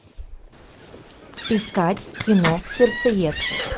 искать кино сердцеед